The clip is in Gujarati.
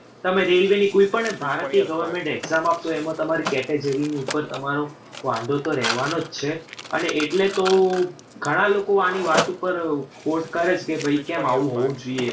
તમે railway ની કોઈ પણ ભારતીય government exam આપશો. એમાં તમારે category ઉપર તમારો વાંધો તો રહેવાનો જ છે અને એટલે તો ઘણાં લોકો આની વાત ઉપર કરે છે કે કેમ આવું હોવું જોઈએ.